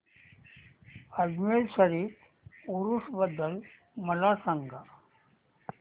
अजमेर शरीफ उरूस बद्दल मला सांग